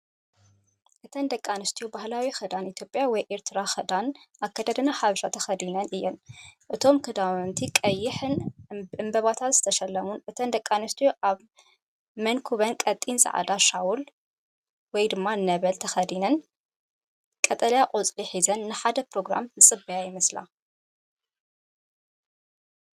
እተን ደቂ ኣንስትዮ ባህላዊ ክዳን ኢትዮጵያ ወይ ኤርትራዊ ክዳን (ኣከዳድና ሓበሻ) ተኸዲነን እየን። እቶም ክዳውንቲ ቀይሕን ብዕምባባታት ዝተሸለሙን፣ እተን ደቂ ኣንስትዮ ኣብ መንኵበን ቀጢን ጻዕዳ ሻውል (ነበል) ተኸዲነን ቀጠልያ ቆጽሊ ሒዘን ንሓደ ኘሮግራም ዝፅበያ ይመስላ።